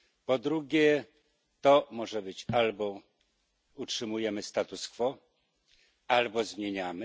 Po drugie, to może być albo utrzymujemy status quo, albo zmieniamy.